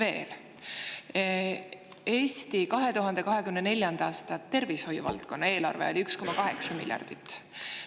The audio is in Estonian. Eesti tervishoiu valdkonna 2024. aasta eelarve oli 1,8 miljardit.